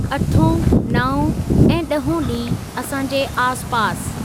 अठों ,नाओं ऐं ॾहों ॾींह असांजे आसिपासि।